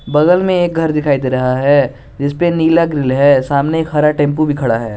बगल में एक घर दिखाई दे रहा है जिसपे नीला ग्रिल है सामने एक हरा टेंपो भी खड़ा है।